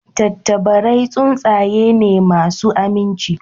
Tattabarai tsuntsaye ne masu aminci